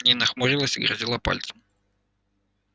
нина хмурилась и грозила пальцем